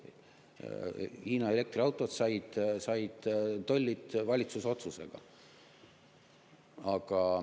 Hiina elektriautod said tollid valitsuse otsusega.